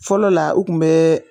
Fɔlɔ la o kun bɛ